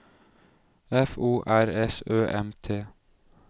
F O R S Ø M T